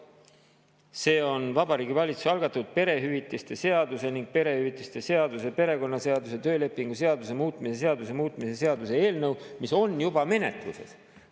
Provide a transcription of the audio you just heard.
See on Vabariigi Valitsuse algatatud perehüvitiste seaduse ning perehüvitiste seaduse, perekonnaseaduse ja töölepingu seaduse muutmise seaduse muutmise seaduse eelnõu, mis on juba menetluses.